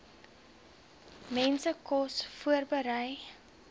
mense kos voorberei